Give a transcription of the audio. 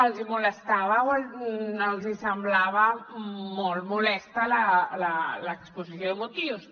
els hi molestava els hi semblava molt molesta l’exposició de motius